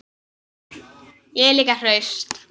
Ég er líka hraust.